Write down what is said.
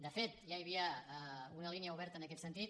de fet ja hi havia una línia oberta en aquest sentit